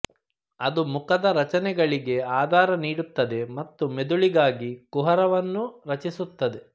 ಅದು ಮುಖದ ರಚನೆಗಳಿಗೆ ಆಧಾರ ನೀಡುತ್ತದೆ ಮತ್ತು ಮೆದುಳಿಗಾಗಿ ಕುಹರವನ್ನು ರಚಿಸುತ್ತದೆ